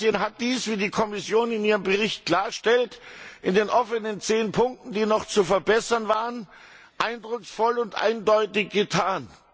Kroatien hat dies, wie die Kommission in ihrem Bericht klarstellt, in den offenen zehn Punkten, die noch zu verbessern waren, eindrucksvoll und eindeutig getan.